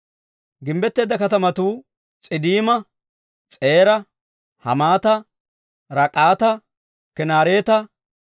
Gimbbetteedda katamatuu S'iddiima, S'eeraa, Haamata, Raak'ata, Kinaareeta,